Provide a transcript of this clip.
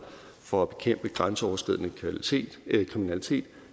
for at bekæmpe grænseoverskridende kriminalitet